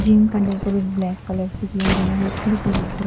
gym का decorate black colour से किया गया है खिड़की दिख र --